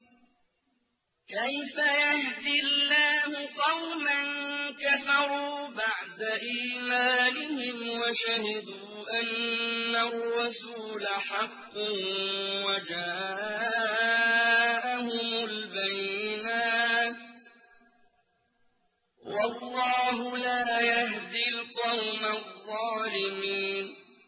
كَيْفَ يَهْدِي اللَّهُ قَوْمًا كَفَرُوا بَعْدَ إِيمَانِهِمْ وَشَهِدُوا أَنَّ الرَّسُولَ حَقٌّ وَجَاءَهُمُ الْبَيِّنَاتُ ۚ وَاللَّهُ لَا يَهْدِي الْقَوْمَ الظَّالِمِينَ